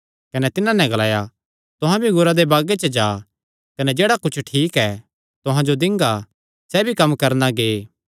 कने तिन्हां नैं ग्लाया तुहां भी अंगूरा दे बागे च जा कने जेह्ड़ा कुच्छ ठीक ऐ तुहां जो दिंगा सैह़ भी कम्म करणा गै